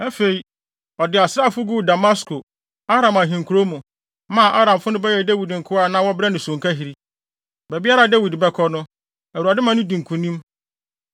Afei, ɔde asraafo guu Damasko, Aram ahenkurow mu, maa Aramfo no bɛyɛɛ Dawid nkoa a na wɔbrɛ no sonkahiri. Baabiara a Dawid bɛkɔ no, Awurade ma no di nkonim.